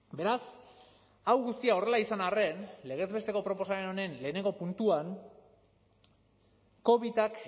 beraz hau guztia horrela izan arren legez besteko proposamen honen lehenengo puntuan covidak